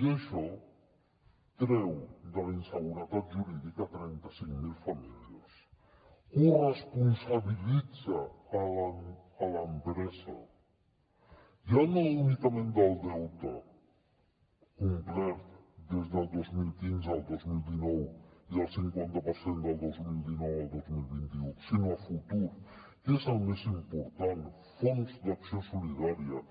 i això treu de la inseguretat jurídica trenta cinc mil famílies corresponsabilitza l’empresa ja no únicament del deute complet des del dos mil quinze al dos mil dinou i el cinquanta per cent del dos mil dinou al dos mil vint u sinó a futur que és el més important fons d’acció solidària